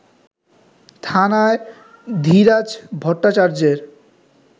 থানায় ধীরাজ ভট্টাচার্যের